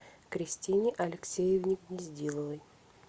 кристине алексеевне гнездиловой